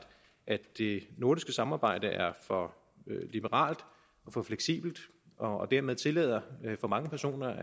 at det nordiske samarbejde er for liberalt for fleksibelt og dermed tillader for mange personer